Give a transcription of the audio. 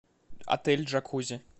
отель джакузи